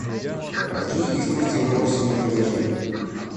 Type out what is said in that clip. какие экскурсии вы можете мне предложить